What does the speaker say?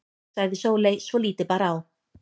sagði Sóley svo lítið bar á.